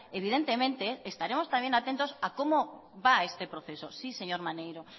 evidentemente estaremos también atentos a cómo va este proceso sí señor maneiro